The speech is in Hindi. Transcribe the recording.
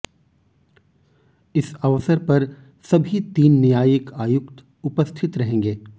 इस अवसर पर सभी तीन न्यायिक आयुक्त उपस्थित रहेंगे